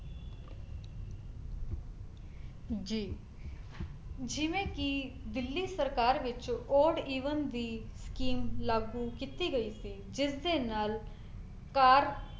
ਜੀ ਜਿਵੇਂ ਕੀ ਦਿੱਲੀ ਸਰਕਾਰ ਵਿੱਚ odd even ਦੀ ਸਕੀਮ ਲਾਗੂ ਕੀਤੀ ਗਈ ਸੀ ਜਿਸ ਦੇ ਨਾਲ ਕਾਰ